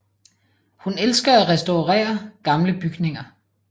Hun elsker at restaurere gamle bygninger